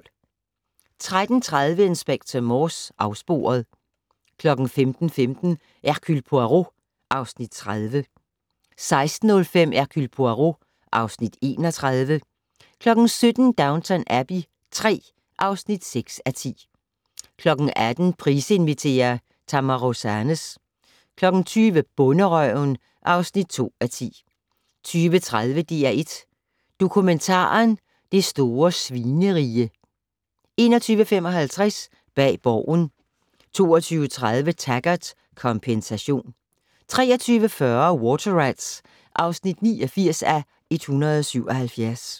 13:30: Inspector Morse: Afsporet 15:15: Hercule Poirot (Afs. 30) 16:05: Hercule Poirot (Afs. 31) 17:00: Downton Abbey III (6:10) 18:00: Price inviterer - Tamra Rosanes 20:00: Bonderøven (2:10) 20:30: DR1 Dokumentaren: Det store Svinerige 21:55: Bag Borgen 22:30: Taggart: Kompensation 23:40: Water Rats (89:177)